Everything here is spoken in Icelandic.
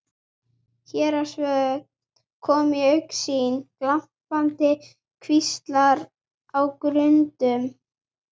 Héraðsvötn komu í augsýn, glampandi kvíslar á grundum.